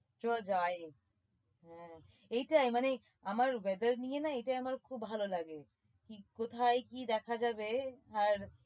চ যাই হ্যাঁ এটাই মানে আমার weather নিয়ে না এটাই আমার খুব ভালো লাগে কি কোথায় দেখা যাবে আর